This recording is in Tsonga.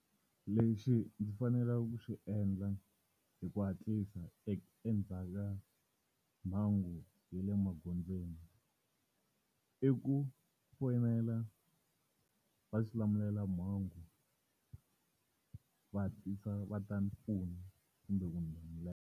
Lexi ndzi faneleke ku xi endla hi ku hatlisa endzhaku ka mhangu ya le magondzweni. I ku fonela vaxilamulelamhangu, va hatlisa va ta ndzi pfuna kumbe ku ndzi .